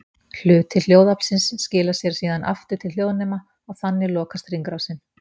Hluti hljóðaflsins skilar sér síðan aftur til hljóðnema og þannig lokast hringrásin.